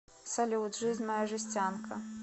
салют жизнь моя жестянка